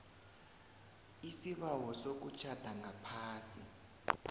isibawo sokutjhada ngaphasi